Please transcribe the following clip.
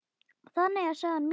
Þannig er saga mín.